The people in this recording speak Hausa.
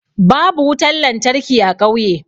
Babu wutan lantarki a ƙauye.